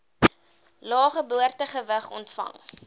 lae geboortegewig ontvang